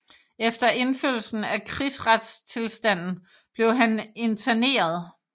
Efter indførelsen af krigsretstilstanden blev han interneret